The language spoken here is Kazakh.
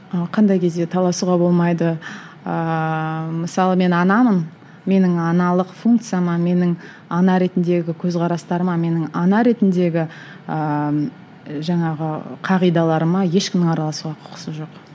қандай кезде таласуға болмайды ыыы мысалы мен анамын менің аналық функцияма менің ана ретіндегі көзқарастарыма менің ана ретіндегі ыыы жаңағы қағидаларыма ешкімнің араласуға құқысы жоқ